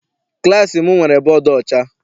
Klassi m nwere bọdu ọcha.